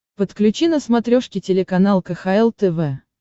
подключи на смотрешке телеканал кхл тв